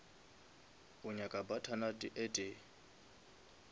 o nyaka butternut e tee